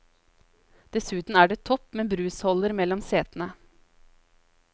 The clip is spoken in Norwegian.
Dessuten er det topp med brusholder mellom setene.